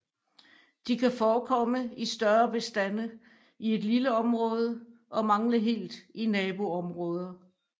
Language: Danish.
De kan forekomme i større bestande i et lille område og mangle helt i naboområder